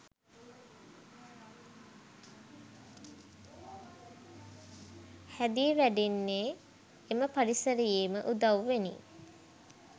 හැදී වැඩෙන්නේ එම පරිසරයේම උදව්වෙනි.